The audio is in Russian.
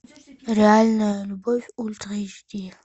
реальная любовь ультра эйч ди